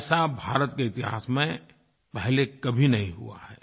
ऐसा भारत के इतिहास में पहले कभी नहीं हुआ है